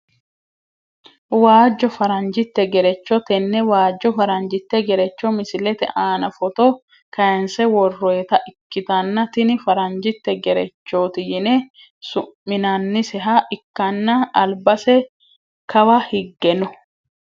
Waajo faranjite gerecho tene waajo faranjite gerecho misilete aana foto kayinse woroyiita ikitanna tini faranjite gerechoti yine su`minaniseha ikanna albase kawa higge no.